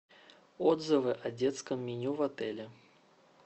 отзывы о детском меню в отеле